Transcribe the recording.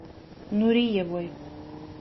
нуриевой